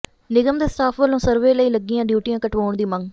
ਨਿਗਮ ਦੇ ਸਟਾਫ਼ ਵੱਲੋਂ ਸਰਵੇ ਲਈ ਲੱਗੀਆਂ ਡਿਊਟੀਆਂ ਕਟਵਾਉਣ ਦੀ ਮੰਗ